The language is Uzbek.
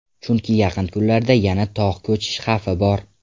Chunki yaqin kunlarda yana tog‘ ko‘cish xavfi bor.